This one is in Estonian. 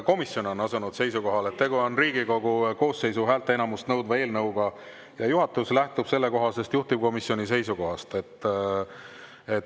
Komisjon on asunud seisukohale, et tegu on Riigikogu koosseisu häälteenamust nõudva eelnõuga, ja juhatus lähtub sellest juhtivkomisjoni seisukohast.